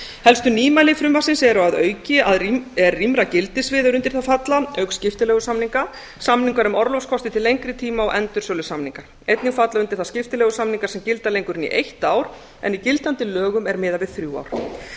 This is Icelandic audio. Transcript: helstu nýmæli frumvarpsins er rýmra gildissvið er undir þau falla auk skiptileigusamninga samningar um orlofs kosti til lengri tíma og endursölusamninga einnig falla undir það skiptileigusamningar sem gilda lengur en í eitt ár en í gildandi lögum er miðað við þrjú ár að